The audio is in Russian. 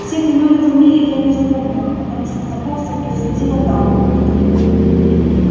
всех имён и фамилий я не запомнила потому что знакомство происходило так